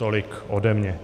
Tolik ode mě.